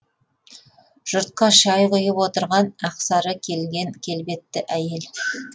жұртқа шай құйып отырған ақ сары келген келбетті әйел